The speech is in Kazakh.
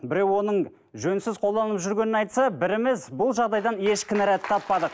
біреу оның жөнсіз қолданылып жүргенін айтса біріміз бұл жағдайдан еш кінәрәт таппадық